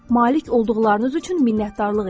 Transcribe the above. Malik olduqlarınız üçün minnətdarlıq edin.